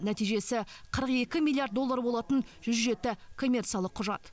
нәтижесі қырық екі миллиард доллар болатын жүз жеті коммерциялық құжат